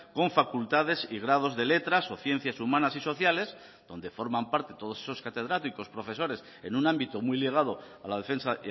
con facultades y grados de letras o ciencias humanas y sociales donde forman parte todos esos catedráticos profesores en un ámbito muy ligado a la defensa